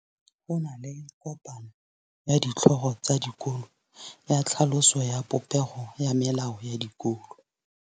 Go na le kopanô ya ditlhogo tsa dikolo ya tlhaloso ya popêgô ya melao ya dikolo.